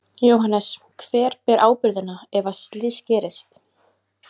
Jóhannes: Hver ber ábyrgðina ef að slys gerist?